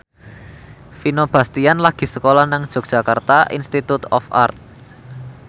Vino Bastian lagi sekolah nang Yogyakarta Institute of Art